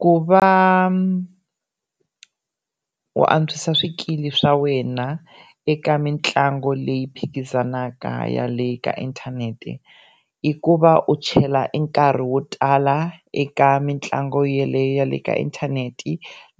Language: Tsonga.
Ku va u antswisa swikili swa wena eka mitlangu leyi phikizanaka ya le ka inthanete i ku va u chela e nkarhi wo tala eka mitlangu yeleyo ya le ka inthanete